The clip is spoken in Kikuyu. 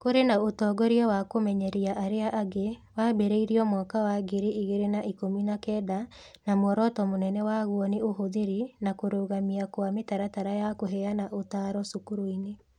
Kũrĩ na ũtongoria wa kũmenyeria arĩa angĩ wambĩrĩirio mwaka wa ngiri igĩrĩ na ikũmi na kenda na muoroto mũnene waguo nĩ ũhũthĩri na kũrũgamia kwa mĩtaratara ya kũheana ũtaaro cukuru-inĩ.